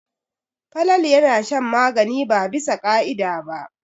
Falalu yana shan magani ba bisa ka'ida ba.